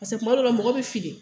Paseke kuma dɔ la mɔgɔ bɛ fili